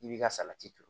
I b'i ka salati turu